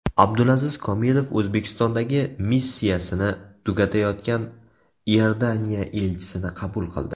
Abdulaziz Komilov O‘zbekistondagi missiyasini tugatayotgan Iordaniya elchisini qabul qildi.